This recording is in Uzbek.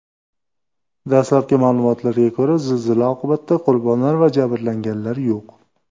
Dastlabki ma’lumotlarga ko‘ra, zilzila oqibatida qurbonlar va jabrlanganlar yo‘q.